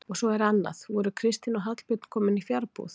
Og svo er annað: voru Kristín og Hallbjörn komin í fjarbúð?